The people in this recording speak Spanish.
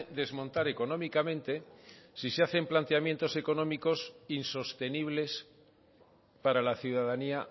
desmontar económicamente si se hacen planteamientos económicos insostenibles para la ciudadanía